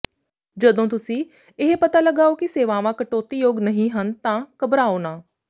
ਜਦੋਂ ਤੁਸੀਂ ਇਹ ਪਤਾ ਲਗਾਓ ਕਿ ਸੇਵਾਵਾਂ ਕਟੌਤੀਯੋਗ ਨਹੀਂ ਹਨ ਤਾਂ ਘਬਰਾਓ ਨਾ